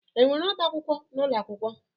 Enwere ọbá akwụkwọ n'ụlọ akwụkwọ?